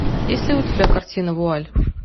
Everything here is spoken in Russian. есть ли у тебя картина вуаль